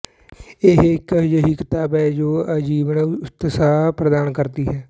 ਇਹ ਇੱਕ ਅਜਿਹੀ ਕਿਤਾਬ ਹੈ ਜੋ ਆਜੀਵਨ ਉਤਸ਼ਾਹ ਪ੍ਰਦਾਨ ਕਰਦੀ ਹੈ